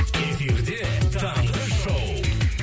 эфирде таңғы шоу